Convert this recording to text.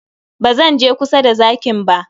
Ba zan je kusa da zakin ba.